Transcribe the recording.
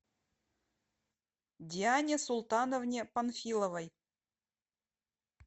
диане султановне панфиловой